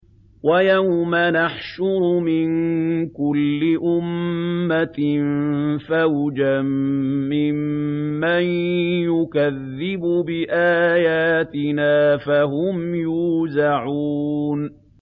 وَيَوْمَ نَحْشُرُ مِن كُلِّ أُمَّةٍ فَوْجًا مِّمَّن يُكَذِّبُ بِآيَاتِنَا فَهُمْ يُوزَعُونَ